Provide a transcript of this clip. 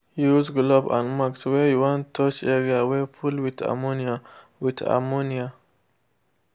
use glove and masks when you want touch area wey full with ammonia. with ammonia.